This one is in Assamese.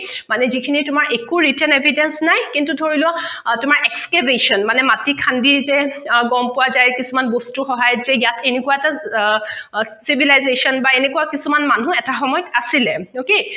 মানে যিখিনি তোমাৰ একো recent evidence নাই কিন্ত ধৰি লোৱা তোমাৰ excavation মানে মাটি খান্দি যে গম পোৱা যায় কিছুমান বস্তু সহায়ত যে ইয়াত এনেকুৱা এটা civilization বা এনেকুৱা কিছুমান মানুহ এটা সময়ত আছিলে okay